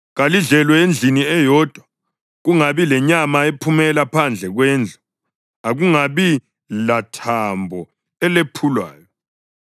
Kalidlelwe endlini eyodwa, kungabi lanyama ephumela phandle kwendlu. Akungabi lathambo elephulwayo.